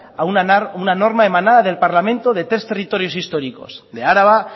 a una norma emanada del parlamento de tres territorios históricos de araba